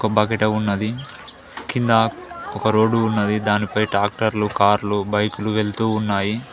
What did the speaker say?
ఒక బకెట ఉన్నది కింద ఒక రోడ్డు ఉన్నది దానిపై టాక్టర్లు కార్లు బైకులు వెళ్తూ ఉన్నాయి.